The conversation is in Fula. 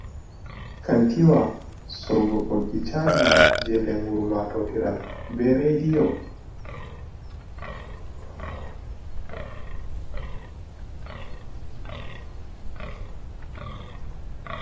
Kantiwa sorgo boggi chaji je lengur matotiral be rediyo.